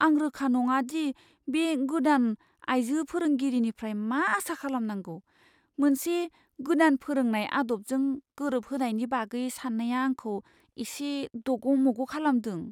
आं रोखा नङा दि बे गोदान आइजो फोरोंगिरिनिफ्राय मा आसा खालामनांगौ। मोनसे गोदान फोरोंनाय आदबजों गोरोबहोनायनि बागै साननाया आंखौ इसे दग'मग' खालामदों।